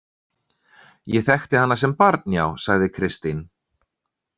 Ég þekkti hana sem barn, já, sagði Kristín.